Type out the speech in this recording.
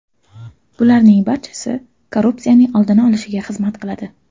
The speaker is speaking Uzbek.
Bularning barchasi korrupsiyaning oldini olishga xizmat qiladi.